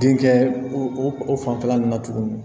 Denkɛ o fanfɛla nun na tuguni